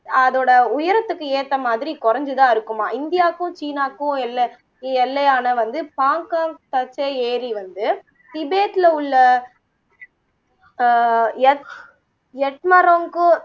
அதோட உயரத்துக்கு ஏத்த மாதிரி குறைந்துதான் இருக்குமாம் இந்தியாக்கும் சீனாக்கும் எல்ல எல்லையான வந்து பாங்க்காங்க் ஏரி வந்து திபேத்ல உள்ள அஹ் எக் யம்ட்ரோக்